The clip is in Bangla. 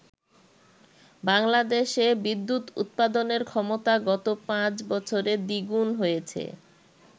বাংলাদেশে বিদ্যুৎ উৎপাদনের ক্ষমতা গত পাঁচ বছরে দ্বিগুন হয়েছে।